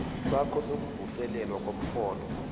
sakho sokuvuselelwa komrholo